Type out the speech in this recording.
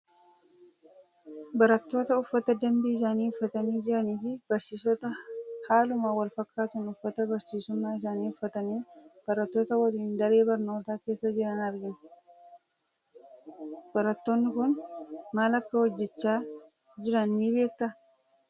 Barattoota uffata dambii isaanii uffatanii jiranii fi barsiisota haaluma wal fakkaatuun uffata barsiisummaa isaanii uffatanii, barattoota waliin daree barnootaa keessa jiran argina. Barattoonni kun maal akka hojjechaa jiran ni beektaa?